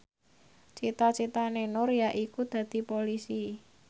cita citane Nur yaiku dadi Polisi